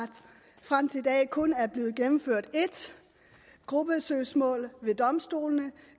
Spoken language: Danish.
frem til i dag kun er blevet gennemført et gruppesøgsmål ved domstolene